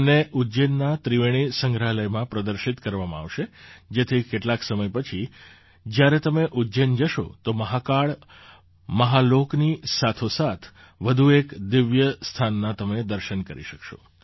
તેમને ઉજ્જૈનના ત્રિવેણી સંગ્રહાલયમાં પ્રદર્શિત કરવામાં આવશે જેથી કેટલાક સમય પછી જ્યારે તમે ઉજ્જૈન જશો તો મહાકાળ મહાલોકની સાથોસાથ વધુ એક દિવ્ય સ્થાનના તમે દર્શન કરી શકશો